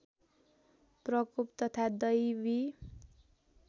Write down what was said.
प्रकोप तथा दैवी